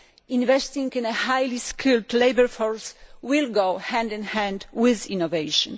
Investing in a highly skilled labour force will go hand in hand with innovation.